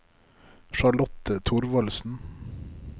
Charlotte Thorvaldsen